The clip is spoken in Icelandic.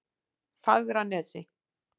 Fagranesi